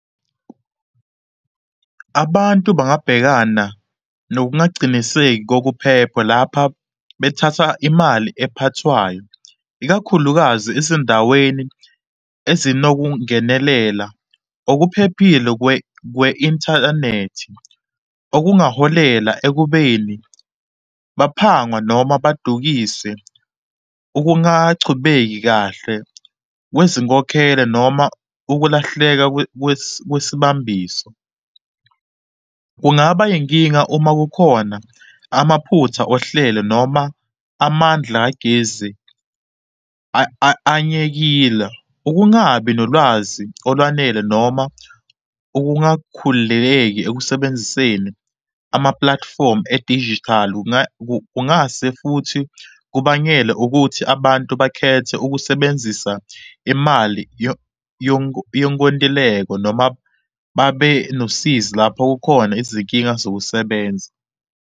Abantu bangabhekana nokungaciniseki kokuphepha lapha bethatha imali ephathwayo, ikakhulukazi ezindaweni ezinokungenelela okuphephile kwe-inthanethi okungaholela ekubeni baphangwa noma badukise. Ukungachubeki kahle kwezinkokhelo noma ukulahleka kwesibambiso, kungaba inkinga uma kukhona amaphutha ohlele noma amandla kagezi anyekile. Ukungabi nolwazi olwanele noma ukungakhululeki ekusebenziseni amapulatifomu edijithali kungase futhi kubangele ukuthi abantu bakhethe ukusebenzisa imali yonkontileko noma babe nosizi lapho kukhona izinkinga zokusebenza.